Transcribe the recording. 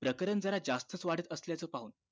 प्रकरण जरा जास्तच वाढत असल्याचे पाहून